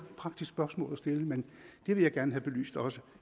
praktisk spørgsmål at stille vil jeg gerne have belyst også